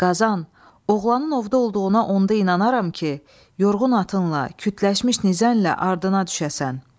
Qazan, oğlanın ovda olduğuna onda inanaram ki, yorğun atınla, kütləşmiş nizənlə ardına düşəsən.